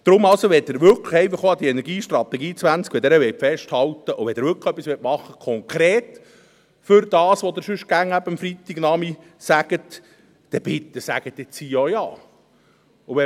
Deswegen also: Wenn Sie wirklich an der Energiestrategie 20 festhalten wollen, und wenn Sie wirklich konkret etwas machen wollen für das, wovon Sie sonst eben am Freitagnachmittag immer reden, dann sagen Sie bitte hier jetzt auch Ja.